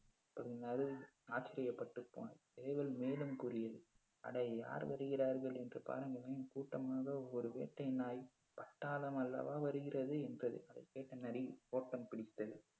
ஆச்சரியப்பட்டு போனது. சேவல் மேலும் கூறியது அடேய் யார் வருகிறார்கள் என்று பாருங்களேன் கூட்டமாக ஒரு வேட்டை நாய் பட்டாளமா அல்லவா வருகிறது என்றது அதைக் கேட்ட நரி ஓட்டம் பிடித்தது